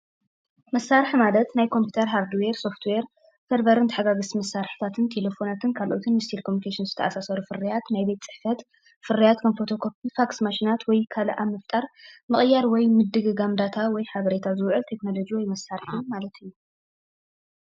መሳሪሒ ማለት ናይ ኮምፒተር ሃርድዌር፣ ሶፍት ዌር፣ ሰርቨር ተሓጋገዝቲ መሳሪሒታትን ካልኦትን ምስ ቴሌኮሚንኬሸን ዝተኣሳሰሩ ፍርያት ናይ ፅሕፈት ፍረያት ከም ፎቶ ኮፒታት ፋክስ ማሽናት ወይ ካልኦት ኣብ ምፍጣር ምቅያር ወይ ምድግጋም ዳታ ወይ ሓበሬታ ዝውዕል ቴክኖሎጂ ወይ መሳሪሒ ማለት እዩ።